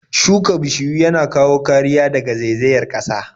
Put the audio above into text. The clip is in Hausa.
Shuka bishiyu yana kawo kariya daga zaizayar ƙasa.